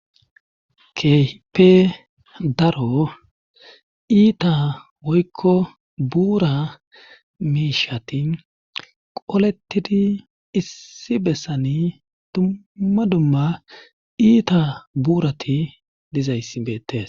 kehipe daro iita woykko buura miishati qolettidi issi bessani dumma dumma iita buurati dizayssi beettes